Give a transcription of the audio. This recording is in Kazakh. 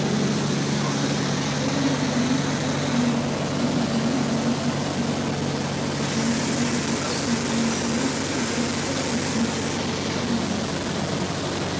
зерттеушілер мәдениаралық коммуникацияның даму динамикасын атап көрсетеді және заманауи түсіндірмесінде өзгерістер мен дамуға қабілетті әлеуметтік анықталған